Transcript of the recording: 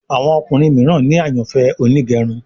Àwọn ọkùnrin míràn ní àyànfẹ Onigerun